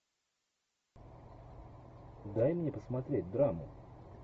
дай мне посмотреть драму